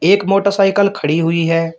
एक मोटरसाइकल खड़ी हुई है।